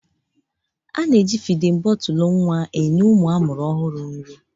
A na-eji fidin bọtụlụ nwa enye ụmụ a mụrụ ọhụrụ nri.